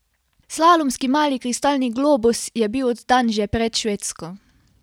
Slalomski mali kristalni globus je bil oddan že pred Švedsko.